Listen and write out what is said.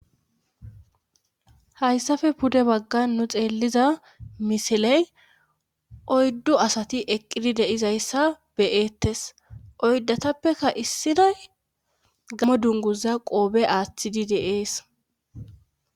Hayssafe pude baggan nu xeelliza misiley oyddu asati eqqidi de'izayssa be'eettes oydatappeka issinay gammo dunguza qoofe aaththidi de'ees